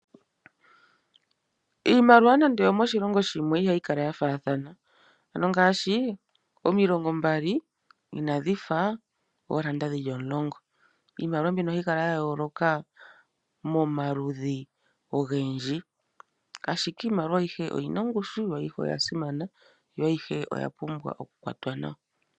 Iimaliwa nande oyomoshilongo shimwe ihayi kala ya faathana ano ngaashi omilongo mbali inadhi fa oolanda dhili omulongo. Iimaliwa mbino ohayi kala ya yooloka momaludhi ogendji ashike iimaliwa ayihe oyina ongushu, yo ayihe oya simana, yo ayihe oya pumbwa oku kwatwa nawa.